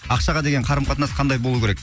ақшаға деген қарым қатынас қандай болуы керек